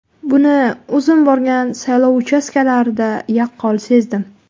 Buni o‘zim borgan saylov uchastkalarida yaqqol sezdim.